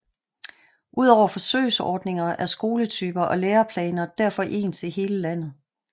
Udover forsøgsordninger er skoletyper og læreplaner derfor ens i hele landet